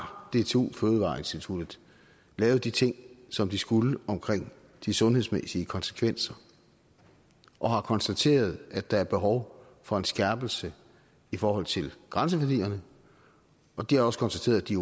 dtu fødevareinstituttet lavet de ting som de skulle omkring de sundhedsmæssige konsekvenser og har konstateret at der er behov for en skærpelse i forhold til grænseværdierne og de har også konstateret at de